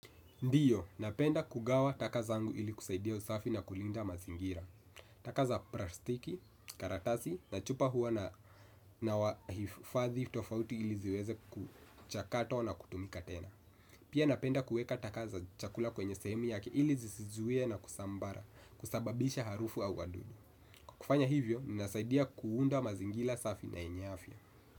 Ndio, napenda kugawa taka zangu ili kusaidia usafi na kulinda mazingira. Taka za plastiki, karatasi, na chupa huwa nahifadhi tofauti ili ziweze kuchakato na kutumika tena. Pia napenda kueka taka za chakula kwenye sehemu yake ili zisizuie na kusambara kusababisha harufu au wadudu. Kufanya hivyo, nasaidia kuunda mazingira safi na yenye afya.